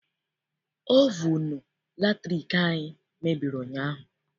Ovunu latriki anyị mebiri ụnyaahụ.